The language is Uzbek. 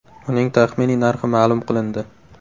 Uning taxminiy narxi ma’lum qilindi.